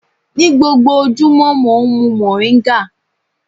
Ní gbogbo ojúmọ́, mò ń mu mòríńgà.